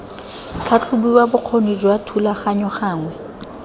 tlhatlhobiwa bokgoni jwa thulaganyo gangwe